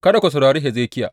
Kada ku saurari Hezekiya.